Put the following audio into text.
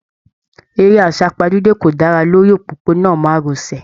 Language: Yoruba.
Eré asapajude kò dára lórí òpópó-ònà márosẹ̀.